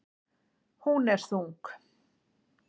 Hún er þung.